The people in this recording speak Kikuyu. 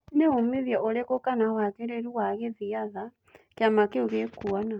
Nĩ-umithio ũrĩkũ kana wagĩrĩru wa gĩthiatha kĩama kĩu gĩkuona?